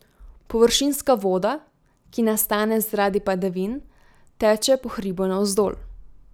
Površinska voda, ki nastane zaradi padavin, teče po hribu navzdol.